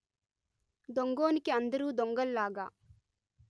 దొంగోనికి అందరు దొంగల్లాగా